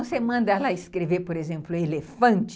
Você manda ela escrever, por exemplo, elefante,